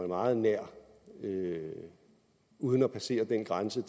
meget nært uden at passere den grænse